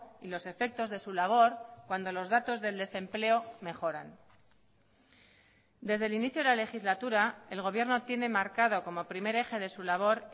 y los efectos de su labor cuando los datos del desempleo mejoran desde el inicio de la legislatura el gobierno tiene marcado como primer eje de su labor